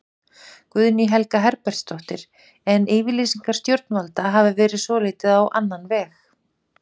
Guðný Helga Herbertsdóttir: En yfirlýsingar stjórnvalda hafa verið svolítið á annan veg?